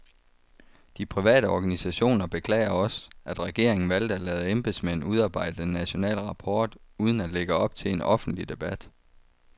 De private organisationer beklager også, at regeringen valgte at lade embedsmænd udarbejde den nationale rapport uden at lægge op til en offentlig debat.